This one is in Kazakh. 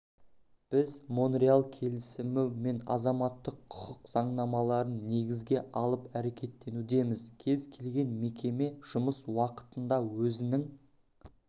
біз монреаль келісімі мен азаматтық құқық заңнамаларын негізге алып әрекеттенудеміз кез келген мекеме жұмыс уақытында өзінің